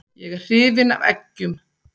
Ég er hrifinn af eggjum.